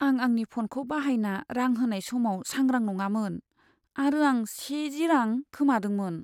आं आंनि फ'नखौ बाहायना रां होनाय समाव सांग्रां नङामोन आरो आं सेजी रां खोमादोंमोन।